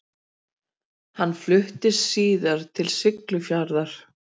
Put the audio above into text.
Hann fluttist síðar til Siglufjarðar.